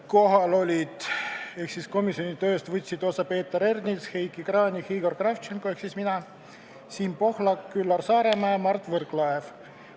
Kohal olid ja komisjoni tööst võtsid osa Peeter Ernits, Heiki Kranich, Igor Kravtšenko ehk mina, Siim Pohlak, Üllar Saaremäe ja Mart Võrklaev.